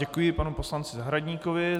Děkuji panu poslanci Zahradníkovi.